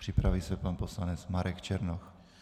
Připraví se pan poslanec Marek Černoch.